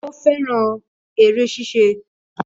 Ó fẹ́ràn eré ṣíṣe